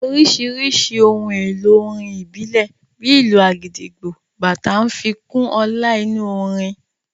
Oríṣiríṣi ohun èlò orin ìbílẹ̀, bíi ìlù agidigbo, bàtá ń fi kún ọlá inú orin